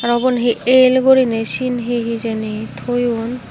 ah ubon hi el guriney sien hi hijeni toyon.